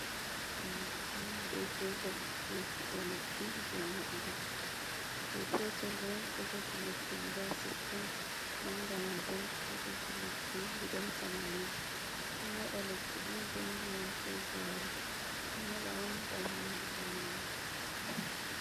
Lekki manga be petel eku’e lekki je modugo, je petel ɗo ɗo jogi lekki guda sittin, manga mai ɓo ɗo jogi lekki guda tamanin, nden ɗo moɗa lekki on be ndiyam ko gari, ɓe ɗo moɗa on ngam nyaundugo nyawoji.